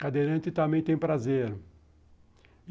Cadeirante também tem prazer.